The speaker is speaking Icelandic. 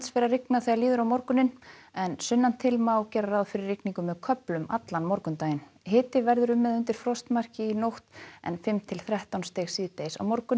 fer að rigna þegar líður á morguninn en sunnan til má gera ráð fyrir rigningu með köflum allan morgundaginn hiti verður um eða undir frostmarki í nótt en fimm til þrettán stig síðdegis á morgun